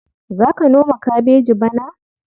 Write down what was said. Za ka noma kabeji bana?